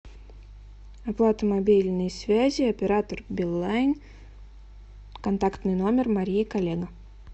оплата мобильной связи оператор билайн контактный номер мария коллега